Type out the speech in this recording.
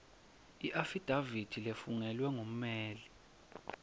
iafidafithi lefungelwe kumele